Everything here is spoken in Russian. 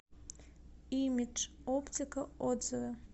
имидж оптика отзывы